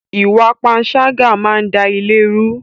Ìwà panṣágà máa ń da ilé rú